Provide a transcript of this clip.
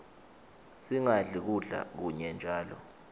singadli kudla kunye njalo